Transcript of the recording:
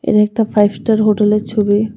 এটা একটা five star হোটেলের ছবি .